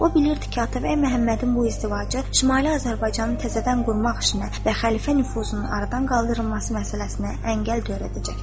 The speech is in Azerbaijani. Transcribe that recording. O bilirdi ki, Atabəy Məhəmmədin bu izdivacı Şimali Azərbaycanı təzədən qurmaq işinə və Xəlifə nüfuzunun aradan qaldırılması məsələsinə əngəl törədəcəkdir.